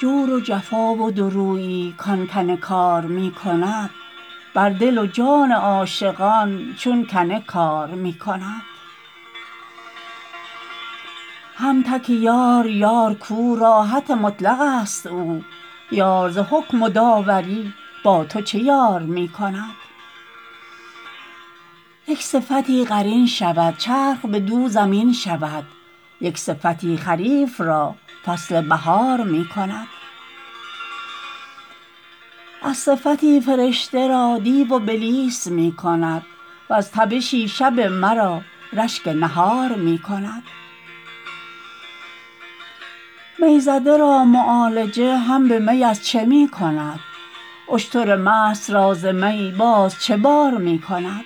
جور و جفا و دوریی کان کنکار می کند بر دل و جان عاشقان چون کنه کار می کند هم تک یار یار کو راحت مطلقست او یار ز حکم و داوری با تو چه یار می کند یک صفتی قرین شود چرخ بدو زمین شود یک صفتی خریف را فصل بهار می کند از صفتی فرشته را دیو و بلیس می کند وز تبشی شب مرا رشک بهار می کند می زده را معالجه هم به می از چه می کند اشتر مست را ز می باز چه بار می کند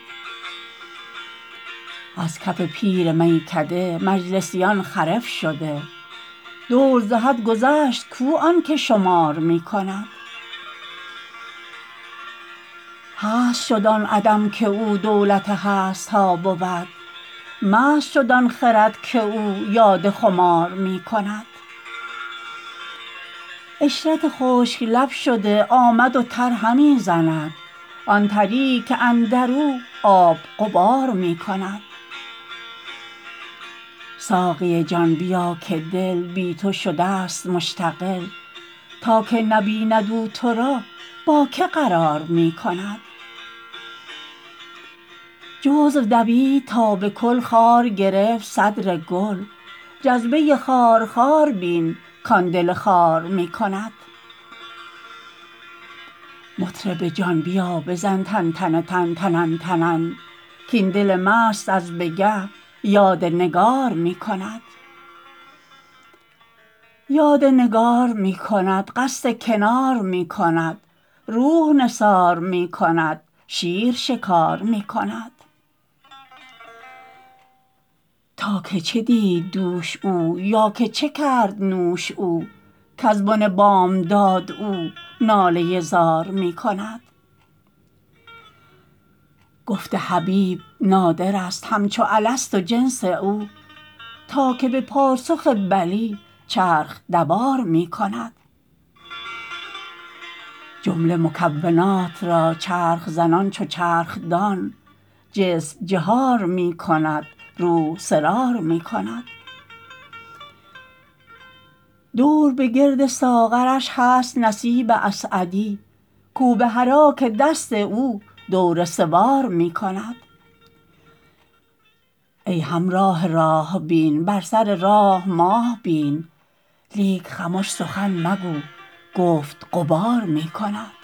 از کف پیر میکده مجلسیان خرف شده دور ز حد گذشت کو آن که شمار می کند هست شد آن عدم که او دولت هست ها بود مست شد آن خرد که او یاد خمار می کند عشرت خشک لب شده آمد و تر همی زند آن تریی که اندر او آب غبار می کند ساقی جان بیا که دل بی تو شدست مشتغل تا که نبیند او تو را با کی قرار می کند جزو دوید تا به کل خار گرفت صدر گل جذبه خارخار بین کان دل خار می کند مطرب جان بیا بزن تن تتنن تنن تنن کاین دل مست از به گه یاد نگار می کند یاد نگار می کند قصد کنار می کند روح نثار می کند شیر شکار می کند تا که چه دید دوش او یا که چه کرد نوش او کز بن بامداد او ناله زار می کند گفت حبیب نادرست همچو الست و جنس او تا که به پاسخ بلی چرخ دوار می کند جمله مکونات را چرخ زنان چو چرخ دان جسم جهار می کند روح سرار می کند دور به گرد ساغرش هست نصیب اسعدی کو بحراک دست او دور سوار می کند ای همراه راه بین بر سر راه ماه بین لیک خمش سخن مگو گفت غبار می کند